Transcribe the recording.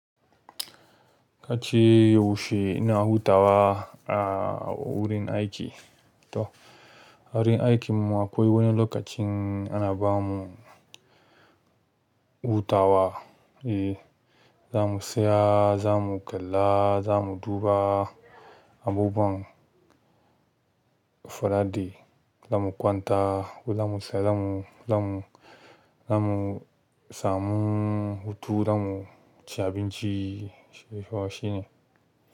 Ka ce yaushe ina hutawa a wurin aiki. To a wurin aikin mu akwai wani lokacin ana bamu hutawa. Eh za mu saya, za mu kalla, za mu duba abubuwan folaɗe, za mu kwanta ko za mu saya, za mu, za mu, za mu samu hutu, za mu ci abinci, sai fa shine.